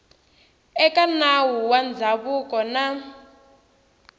eka nawu wa ndzhavuko na